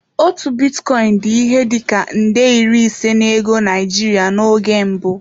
Otu bitcoin dị ihe dị ka nde iri ise na ego Naijiria n'oge mbụ.